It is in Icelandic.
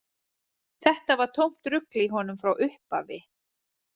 Þetta var tómt rugl í honum frá upphafi.